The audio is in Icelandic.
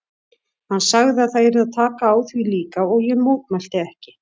Hann sagði að það yrði að taka á því líka og ég mótmælti ekki.